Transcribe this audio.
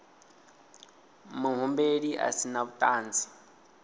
muhumbeli a si na vhuṱanzi